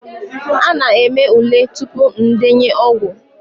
A na-eme ule tupu ndenye ọgwụ